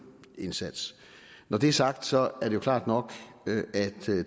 indsats når det er sagt så er det klart nok at